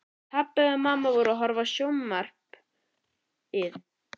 Pabbi og mamma voru að horfa á sjónvarpið.